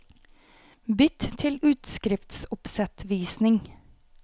Bytt til utskriftsoppsettvisning